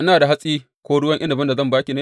Ina da hatsi ko ruwan inabin da zan ba ki ne?